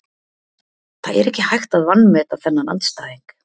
Það er ekki hægt að vanmeta þennan andstæðing.